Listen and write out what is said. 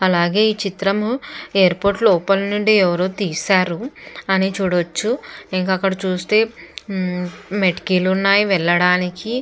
అలాగే ఈ చిత్రము ఎయిర్పోర్టు లోపలి నుండి ఎవరో తీశారు అని చూడచ్చు ఇంక అక్కడ చూస్తే హు మెటికీలు ఉన్నాయ్ వెళ్ళడానికి.